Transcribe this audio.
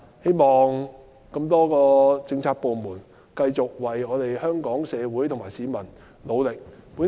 希望政府的多個政策部門能繼續為香港社會和市民努力。